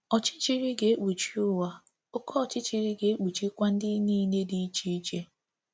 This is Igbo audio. ọchịchịrị ga-ekpuchi ụwa, oké ọchịchịrị ga-ekpuchikwa ndị niile dị iche iche.